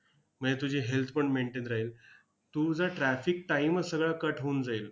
म्हणजे तुझी health पण maintain राहील. तुझा traffic time च सगळा cut होऊन जाईल.